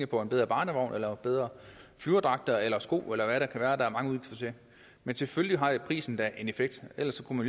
på en bedre barnevogn eller bedre flyverdragter eller sko eller hvad der er mange udgifter til men selvfølgelig har prisen da en effekt ellers kunne